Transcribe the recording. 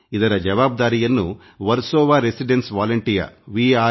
ಇದರ ಜವಾಬ್ದಾರಿಯನ್ನು ವರ್ಸೋವಾ ನಿವಾಸಿ ಸ್ವಯಂಸೇವಕರು ಅಥವಾ ವಿಆರ್